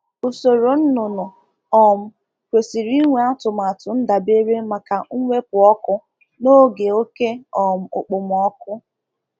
um Ụlọ ọzụzụ um Ụlọ ọzụzụ ọkụkụ um chọrọ atụmatụ ndokwa ndabere maka oge oke ekpom-oku